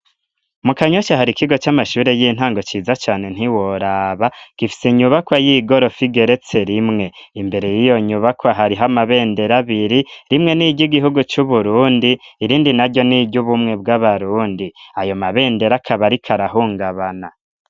Mu kanyosha hari ikigo c'amashure y'intango ciza cane ntiworaba gifise inyubakwa y'igorofa igeretse rimwe imbere y'iyo nyubakwa hariho amabendero abiri rimwe n'iryo igihugu c'uburundi irindi na ryo n'iryo ubumwe bw'abarundi ayo mabendero akabarika arahungabana.